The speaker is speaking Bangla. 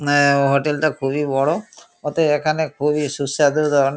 না এ হোটেল - টা খুবই বড় ওদের এখানে খুবই সুস্বাদু ধরণে --